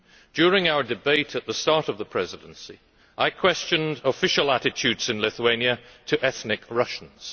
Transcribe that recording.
During our debate at the start of the Presidency, I questioned official attitudes in Lithuania to ethnic Russians.